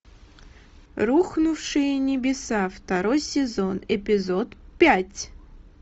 рухнувшие небеса второй сезон эпизод пять